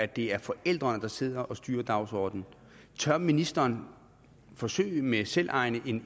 det er forældrene der sidder og styrer dagsordenen tør ministeren forsøge med selvejende